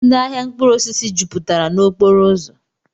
Ndị ahịa mkpụrụosisi jupụtara n'okporoụzọ